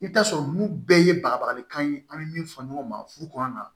I bɛ taa sɔrɔ ninnu bɛɛ ye bagali kan ye an bɛ min fɔ ɲɔgɔn ma furu kɔnɔ na